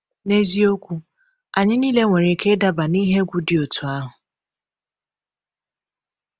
N’eziokwu, anyị niile nwere ike ịdaba n’ihe egwu dị otú ahụ.